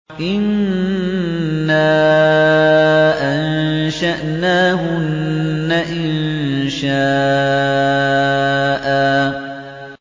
إِنَّا أَنشَأْنَاهُنَّ إِنشَاءً